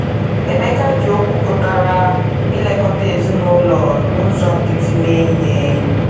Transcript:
Emeka ji okwu pụtara “ ilekọta ezinụlọ ” n’ụzọ nkịtị mee ihe.